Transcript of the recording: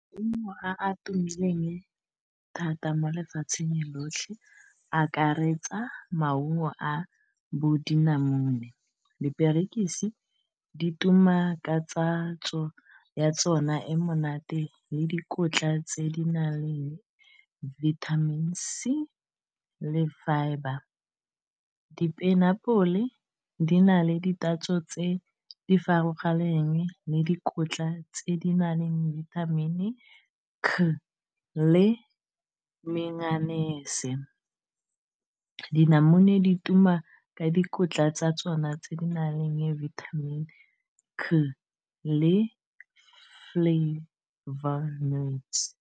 Maungo a a tumileng thata mo lefatsheng lotlhe akaretsa maungo a bo dinamune diperekisi di tuma ka tatso ya yona e monate le dikotla tse di na leng vitamin C le fibre, di-pineapple di na le di tatso tse di farologaneng le dikotla tse di na leng di-vitamin C le mennyanese dinamune di tuma ka dikotla tsa tsona tse di na leng vitamin C le fole flavour.